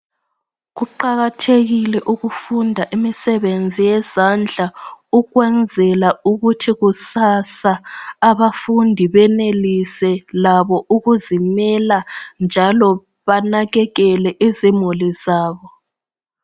Kuqakathekile ukufunda imisebenzi yezandla ukwenzela ukuthi kusasa abafundi benelise labo ukuzilimela njalo banakekele izimuli zabo.